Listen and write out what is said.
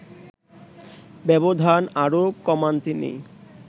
ব্যবধান আরো কমান তিনি